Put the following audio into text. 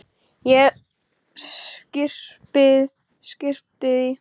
Ég skyrpti því.